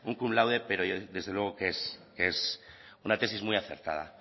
cum laude pero desde luego que es una tesis muy acertada